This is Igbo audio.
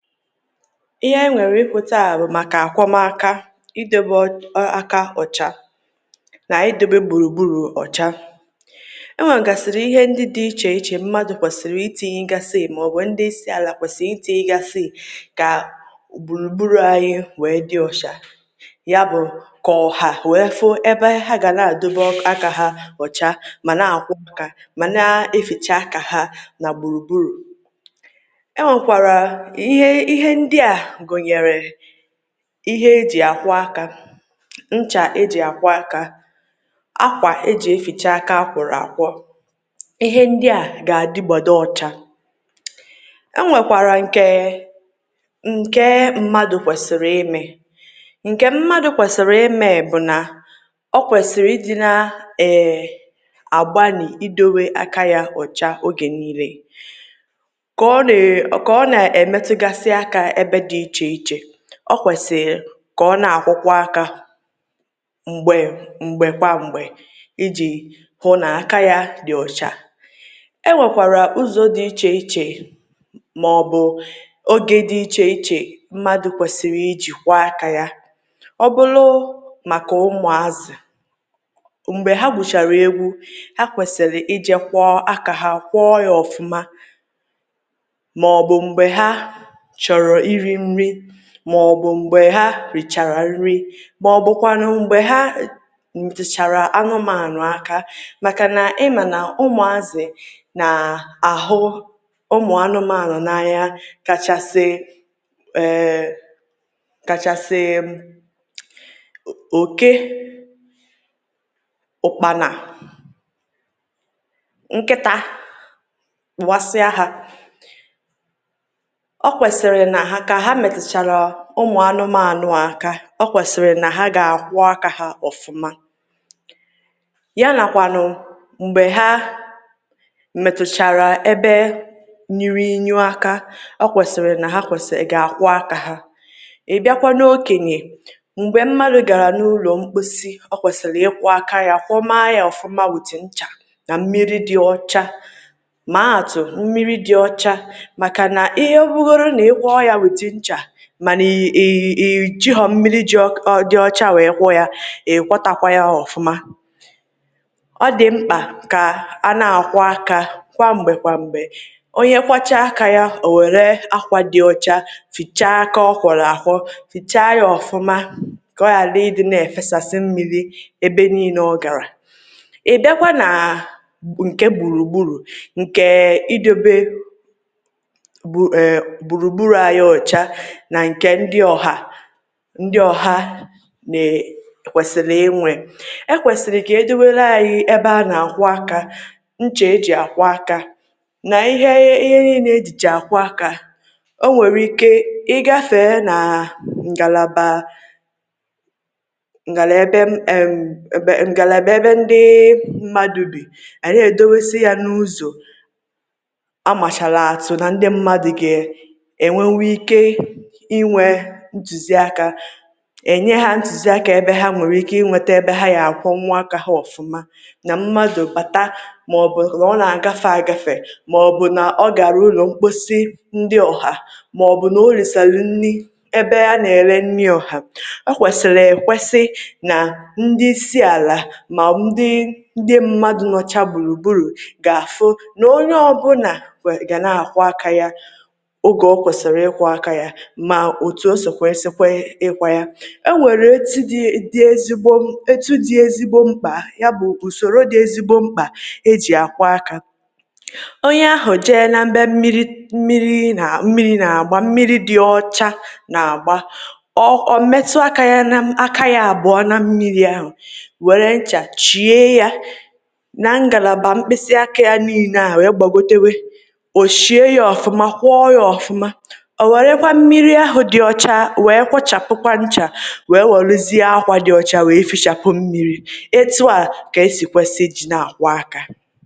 Ihe anyị nwere ikwu taa bụ maka akwọmaaka, idobe err aka na idebe gburugburu ọcha. E nwegasịrị ihe ndị dị iche iche mmadụ kwesịrị itinyegasị maọbụ ndị isi ala kwesịrị itiigasị ka gburugburu anyị wee dị ọcha. Yabụ ka ọha wee fụ ebe ha ga na-adọbe aka ha ọcha ma na-akwọ aka ma na-eficha aka ha na gburugburu. E nwekwara ihe ihe ndị a gụnyere ihe eji akwọ́ aka, ncha eji akwọ́ aka, ákwà eji eficha aka a kwọrọ akwọ́. Ihe ndị a ga-adịgbado ọcha. E nwekwara nke nke mmadụ kwesịrị ịme. Nke mmadụ kwesịrị ịme bụ na o kwesịrị ị dị na err agbanị idowe aka ya ọcha oge niine. Ka ọ nee ka ọ na-emetụgasị aka ebw dị iche iche, ọ kwesịrị ka ọ na-akwọkwa aka mgbe mgbe kwa mgbe iji hụ na aka ya dị ọcha. E nwekwara ụzọ dị iche iche maọbụ oge dị iche iche mmadụ kwesịrị iji kwọọ aka ya. Ọ bụlụ maka ụmụazị̀, mgbe ha gwuchara eegwu, ha kwesịrị i jee kwọọ aka ha kwọọ ya ọfụma maọbụ mgbe ha chọrọ iri nri maọbụ mgbe ha richara nri maọbụkwanụ mgbe ha metụchara anụmanụ aka makana ị ma na ụmụazị̀ na-ahụ ụmụ anụmanụ n'anya kachasị err kachasị o oké, ụkpana, nkịta kpọwasịa ha. Ọ kwesịrị na ka ha metụchara ụmụ anụmanụ a aka, ọ kwesịrị na ha ga akwọ́ aka ha ọfụma. Ya na kwanụ mgbe ha metụchara ebe nuru inyu aka, o kwesịrị n ha kwesịrị ga-akwọ́ aka ha. Ị bịakwa n'okenye, mgbe mmadụ gara n'ulo mposi ọ kwesịrị ị́kwọ aka ya kwọmaa ya ọfụma with ncha na mmiri dị ọcha maa atụ mmiri dị ọcha makana ihe ọ bụrụgodi nna ị kwọọ with ncha mana i i i jighọ mmiri ji ọ dị ọcha wee kwọ ya, ịkwọtakwa ya ọfụma. Ọ dị mkpa ka a na akwọ́ aka kwa mgbe kwa mgbe. Onye kwọchaa aka ya, o were akwa dị ọcha fichaa aka ọ kwọrọ akwọ́ fichaa ya ọfụma ka ọ ghali ị dị na-efesasị mmiri ebe niile ọ gara. Ị bịakwa naa nke gburugburu nke idobe gbu err gburugburu anyị ọcha na nke ndị ọha ndị ọha ne kwesịrị ịnwe. E kwesịrị ka edowere anyị ebe a na-akwọ, aka, ncha e ji akwọ aka nq ihe ihe niile ejicha akwọ aka. O nwere ike ịgafee na ngalaba ngala ebe erm ebe ngalaba ebe ndị mmadụ bi, a na-edowesị ya n'ụzọ a machala atụ na ndị mmadụ ga-enwenwu ike inwe ntụziaka. E nye ha ntụziaka ebe ha nwere ike inwete ebe ha ga akwọnwu aka ha ọfụma. Na mmadụ bata maọbụ na ọ na-agafe agafe maọbụ na ọ gara ulo mkposi ndị ọha maọbụ na o risarụ nri ebe a na-ere nni ọha. Ọ kwesịlị ekwesị na ndị isi ala na ndị ndị mmadụ nọcha gburugburu ga-afụ na onye ọbụla we ga na-akwọ aka ya ogw ọ kwesịrị ikwọ aka ya ma otu o si kwe sị kwe ịkwọ ya. E nwere etu dị dị ezigbo mkpa ya bụ usoro dị ezigbo mkpa eji akwọ aka. Onye ahụ jee n'ebe mmiri mmiri na mmiri na-agba mmiri dị ọcha na-agba, ọ ọ metụ aka ya na m aka ya abụa na mmiri ahụ were ncha chie ya na ngalaba mkpịsị aka ya niine a wee gbagotewe. O shie ya ọfụma kwọọ ya ọfụma. O werekwa mmiri ahụ dị ọcha wee kwọchapụkwa ncha wee welụzie akwa dị ọcha wee fichapụ mmiri. Etu a ka e si kwesị ịdị na akwọ aka.